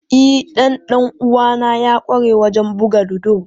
E, dan dan uwana ya kware wajen buga ludo.